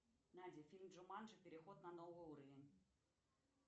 найди фильм джуманджи переход на новый уровень